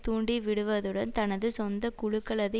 தூண்டிவிடுவதுடன் தனது சொந்த குழுக்களது